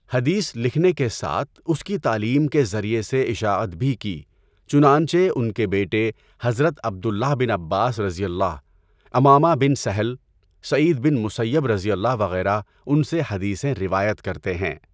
حدیث لکھنے کے ساتھ اس کی تعلیم کے ذریعہ سے اشاعت بھی کی، چنانچہ ان کے بیٹے حضرت عبد اللہ بن عباسؓ، امامہ بن سہل، سعید بن مُسَیَّبؓ وغیرہ ان سے حدیثیں روایت کرتے ہیں۔